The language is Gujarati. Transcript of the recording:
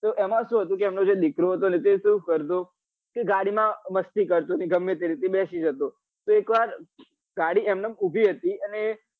તો એમાં શું હતું કે એમનો જે દીકરો હતો એ શું કરતો કે ગાડી માં મસ્તી કરતો ને ગમે તે રીતે બેસી જતો તો એક વાર ગાડી એમનેમ ઉભી હતી અને એ